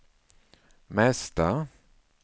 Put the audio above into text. mesta